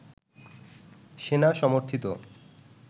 সেনা-সমর্থিত